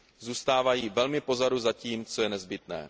Zůstávají velmi pozadu za tím, co je nezbytné.